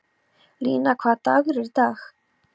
Lína, hvaða dagur er í dag?